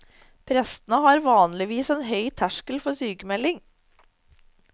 Prestene har vanligvis en høy terskel for sykemelding.